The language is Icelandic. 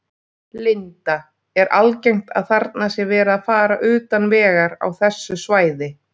Linda: Er algengt að þarna sé verið að fara utan vegar á þessu svæði?